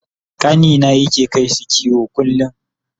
ƙanina yake kaisu kiwo kullum